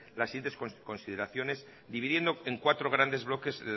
las siguientes consideraciones dividiendo en cuatro grandes bloques